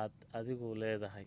aad adigu leedahay